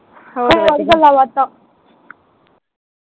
ਹੋਰ ਹੋਰ ਗੱਲਾਂ ਬਾਤਾਂ